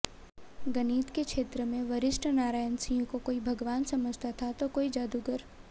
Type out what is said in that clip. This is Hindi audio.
गणित के क्षेत्र में वशिष्ठ नारायण सिंह को कोई भगवान समझता था तो कोई जादूगर